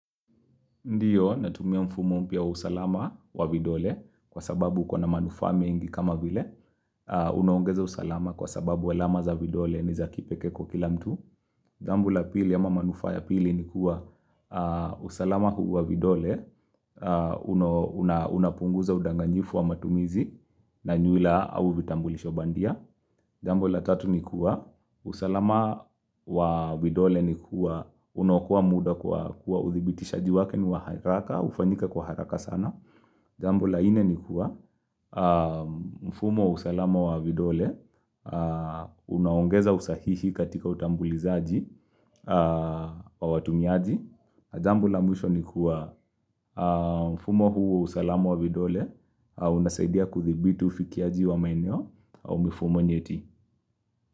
Ndiyo, natumia mfumo mpya usalama wa vidole kwa sababu uko na manufaa mengi kama vile. Unoongeza usalama kwa sababu alama za vidole ni za kipekee kwa kila mtu. Jambo la pili ama manufaa ya pili ni kuwa usalama huu wa vidole. Unapunguza udanganyifu wa matumizi na nyaraka au vitambulisho bandia. Jambo la tatu ni kuwa, usalama wa vidole ni kuwa, unaokoa muda kwa uthibitishaji wake ni wa haraka, ufanyika kwa haraka sana Jambo la nne ni kuwa, mfumo usalama wa vidole, unaongeza usahihi katika utambulizaji wa watumiaji Jambo la mwisho ni kuwa, mfumo huu usalama wa vidole, unasaidia kudhibiti ufikiaji wa maeneo, au mifumo nyeti.